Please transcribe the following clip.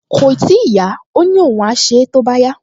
Kòì tíì yá, ó ní òun á ṣe é tó bá yá